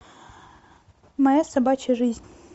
моя собачья жизнь